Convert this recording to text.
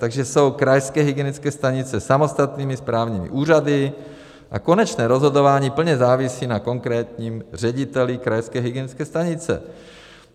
Takže jsou krajské hygienické stanice samostatnými správními úřady a konečné rozhodování plně závisí na konkrétním řediteli krajské hygienické stanice.